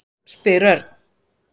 spyr Örn.